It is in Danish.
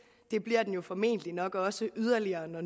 det bliver den formentlig også yderligere når